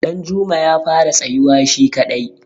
danjuma ya fara tsayuwa shi kadai